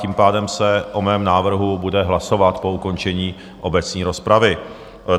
Tím pádem se o mém návrhu bude hlasovat po ukončení obecné rozpravy.